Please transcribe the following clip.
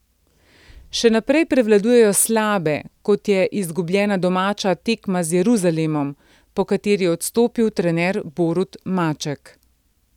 Še naprej prevladujejo slabe, kot je izgubljena domača tekma z Jeruzalemom, po kateri je odstopil trener Borut Maček.